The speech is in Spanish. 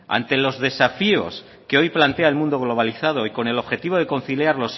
ante los desafíos que hoy plantea el mundo globalizado y con el objetivo de conciliar